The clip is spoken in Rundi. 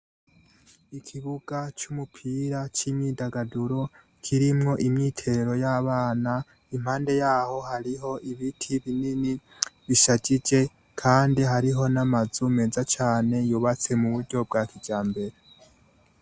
Ikibuga c' umupira c' imyudagaduro kirimwo imyitero y' abana impande yaho hariho ibiti binini bishajije kandi hariho n' amazu meza cane yubatse mu buryo bwa kijambere.